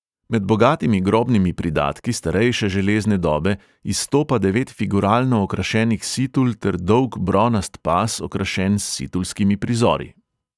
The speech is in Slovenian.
Med bogatimi grobnimi pridatki starejše železne dobe izstopa devet figuralno okrašenih situl ter dolg bronast pas, okrašen s situlskimi prizori.